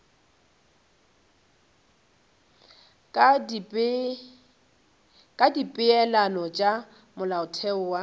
ka dipeelano tša molaotheo wo